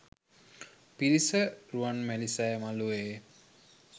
පිරිස රුවන්මැලි සෑ මලුවේ